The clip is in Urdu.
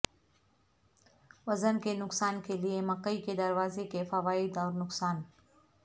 وزن کے نقصان کے لئے مکئی کے دروازے کے فوائد اور نقصان